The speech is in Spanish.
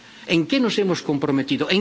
¿En qué nos hemos comprometido?